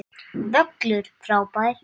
Völlur frábær.